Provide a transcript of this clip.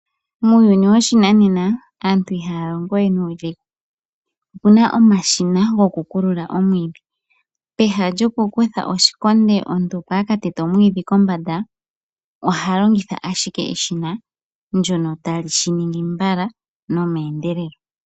Muuyuni woshinanena aantu I ha ya longo we nuudhigu. O pe na omashina go ku teta omwiiidhi, peha lyo ku kutha oshikondo omuntu opo a katete omwiidhi kombanda, oha longitha ashike eshina ndjono ta li shi ningi mbala no meendelelo.